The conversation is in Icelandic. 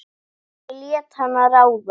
Hann lét hana ráða.